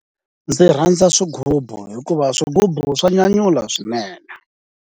Ndzi rhandza swigubu, hikuva swigubu swa nyanyula swinene.